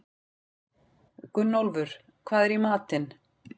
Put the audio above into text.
Gunnólfur, hvað er í matinn?